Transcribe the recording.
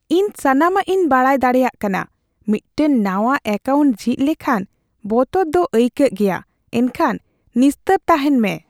ᱤᱧ ᱥᱟᱱᱟᱢᱟᱜ ᱤᱧ ᱵᱟᱰᱟᱭ ᱫᱟᱲᱮᱭᱟᱜ ᱠᱟᱱᱟ ᱾ ᱢᱤᱫᱴᱟᱝ ᱱᱟᱶᱟ ᱮᱠᱟᱣᱩᱱᱴ ᱡᱷᱤᱡ ᱞᱮᱠᱷᱟᱱ ᱵᱚᱛᱚᱨ ᱫᱚ ᱟᱹᱭᱠᱟᱹᱜ ᱜᱮᱭᱟ, ᱮᱱᱠᱷᱟᱱ ᱱᱤᱥᱛᱟᱹᱨ ᱛᱟᱦᱮᱱ ᱢᱮ ᱾